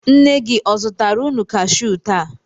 Nne gị o zụtara unu kashiu taa?